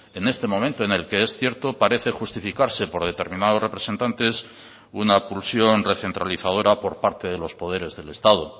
en este momento en el que es cierto parece justificarse por determinados representantes una pulsión recentralizadora por parte de los poderes del estado